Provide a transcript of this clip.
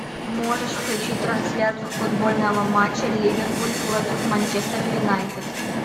можешь включить трансляцию футбольного матча ливерпуль против манчестер юнайтед